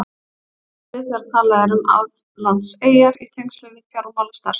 Hvað er átt við þegar talað er um aflandseyjar í tengslum við fjármálastarfsemi?